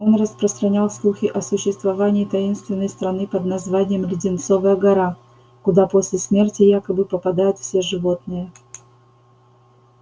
он распространял слухи о существовании таинственной страны под названием леденцовая гора куда после смерти якобы попадают все животные